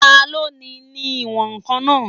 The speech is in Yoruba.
Taló ni ní ìwọ̀n-ǹkan náà?